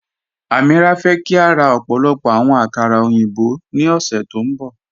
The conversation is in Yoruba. Amíírà fẹ́ kí a rá ọ̀pọ̀lọ̀pọ̀ àwọn àkàrà oyinbọ̀ ní ọ̀ṣẹ́ tó nbọ